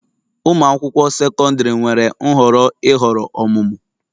Ụmụ akwụkwọ sekọndrị nwere nhọrọ ịhọrọ ọmụmụ